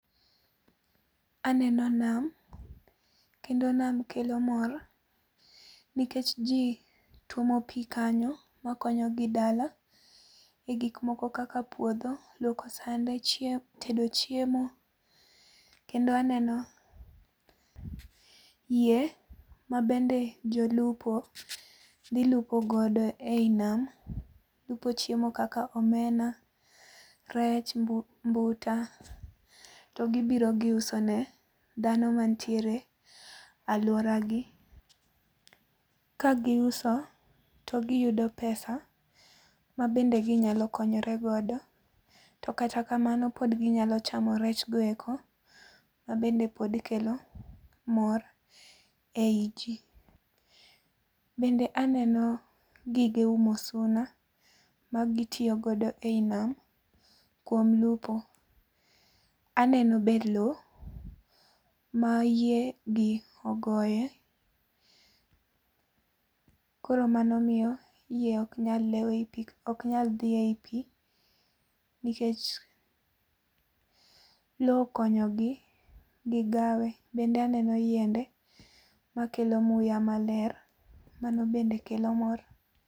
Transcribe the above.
Aneno nam, kendo nam kelo mor, nikech jii tuomo pii kanyo makonyo gi dala, e gik moko kaka puodho, lwoko sande, chiemo tedo chiemo. Kendo aneno yie, mabende jolupo dhi lupo godo eyi nam. Lupo chiemo kaka omena, rech mbu mbuta togibiro giuso ne dhano mantiere, alwora gi. Kagiuso, to giyudo pesa mabende ginyalo konyore godo to kata kamano pod ginyalo chamo rech go eko mabende pod kelo mor, ei jii. Bende aneno gige umo suna, ma gitiyo godo ei nam kuom lupo. Aneno be loo ma yie gi ogoye koro mano miyo yie ok nyal lew ok nyal dhi eyi pii nikech loo okonyogi gigawe. Bende aneno yiende makelo muya maler, mano bende kelo mor